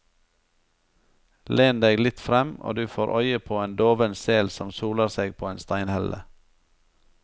Len deg litt frem, og du får øye på en doven sel som soler seg på en steinhelle.